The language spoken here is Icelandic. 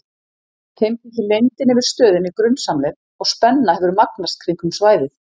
Þeim þykir leyndin yfir stöðinni grunsamleg og spenna hefur magnast kringum svæðið.